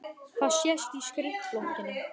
Það sést á skrifblokkinni.